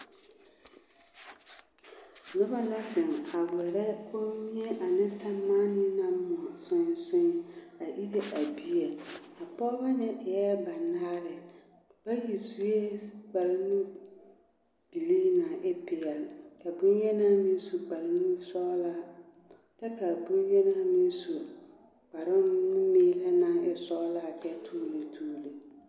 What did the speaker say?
Noba la zeŋ a wɛrɛ kommie ane sɛremaane naŋ moɔ soe soe a ire a bie a pɔgeba ŋa e la banaare bayi sue kparenubilii naŋ e peɛlle ka bonyeni meŋ su kparenusɔglaa kyɛ ka a bonyeni meŋ su kparenumeele meŋ naŋ e sɔglaa kyɛ toɔne toɔne.